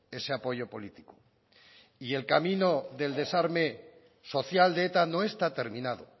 ese apoyo político y el camino del desarme social de eta no está terminado